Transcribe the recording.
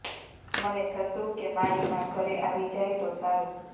મને થતું કે મારી મા ઘરે આવી જાય તો સારું